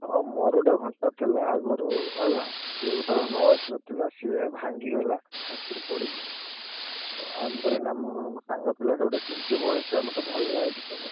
ହଁ ମୋର ଗୋଟେ ଘଣ୍ଟା ଥିଲା ଆଗୁରୁ ହେଲା। ସିଏ ଗୋଟେ ର ଥିଲା ସିଏ ଭାଙ୍ଗିଗଲା ହାତୁରୁ ପଡିକି। ତାପରେ ନା ମୁଁ ସାଙ୍ଗ ପିଲାଟେ ଗୋଟେ Ambrane ମତେ ଭଲ ଲାଗିଚି ସେ।